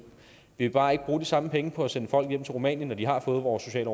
vi vil bare ikke bruge de samme penge på at sende folk hjem til rumænien når de har fået vores sociale